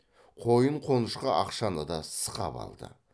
қойын қонышқа ақшаны да сықап алды